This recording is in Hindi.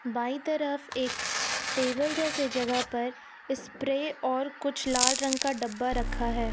बाई तरफ एक टेबल जैसे जगह पर स्प्रे और कुछ लाल रंग का डब्बा रखा है।